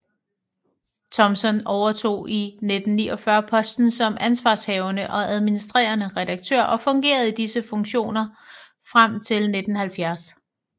Thompson overtog i 1949 posten som ansvarshavende og administrerende redaktør og fungerede i disse funktioner frem til 1970